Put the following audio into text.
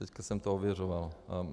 Teď jsem to ověřoval.